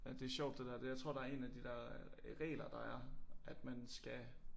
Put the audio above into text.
Ja det sjovt det der det jeg tror der er én af de der regler der er at man skal